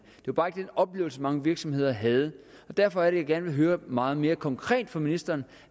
var bare ikke den oplevelse mange virksomheder havde derfor er det jeg gerne vil høre meget mere konkret fra ministeren